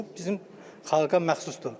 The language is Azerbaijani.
Bu bizim xalqa məxsusdur.